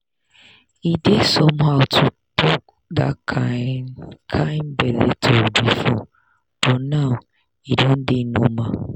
e dey somehow to talk that kind kind belle talk before but now e don dey normal.